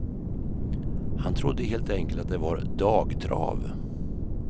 Han trodde helt enkelt att det var dagtrav.